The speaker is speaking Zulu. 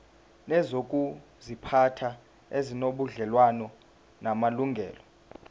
nezokuziphatha ezinobudlelwano namalungelo